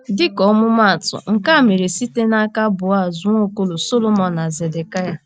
Dịka ọmụmaatụ, nke a mere site n’aka Boaz, Nwaokolo, Sọlomon, na Zedekịa.